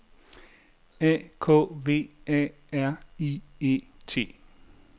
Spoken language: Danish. A K V A R I E T